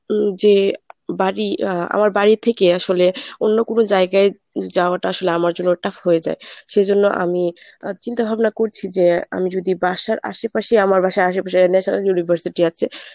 উম যে বাড়ি আ আমার বাড়ি থেকে আসলে অন্য কোন জায়গায় যাওয়াটা আসলে আমার জন্য tough হয়ে যায় সেই জন্য আমি আ চিন্তা ভাবনা করছি যে আমি যদি বাসার আশেপাশেই আমার বাসায় আশেপাশে national university আছে